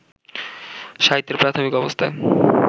সাহিত্যের প্রাথমিক অবস্থায়